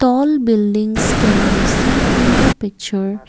all buildings can be seen in the picture.